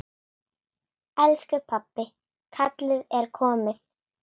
Elsku pabbi, kallið er komið.